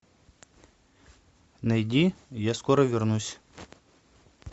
найди я скоро вернусь